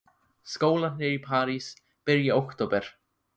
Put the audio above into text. Skólarnir í París byrja í október.